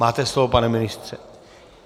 Máte slovo, pane ministře.